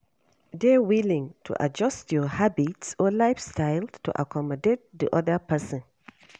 Dey willing to adjust your habits or lifestyle to accomodate di oda person